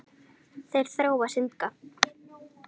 Þeir þrá að syndga.